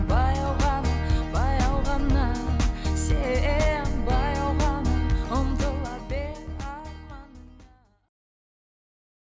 баяу ғана баяу ғана сен баяу ғана ұмтыла бер